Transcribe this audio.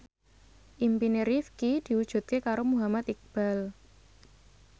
impine Rifqi diwujudke karo Muhammad Iqbal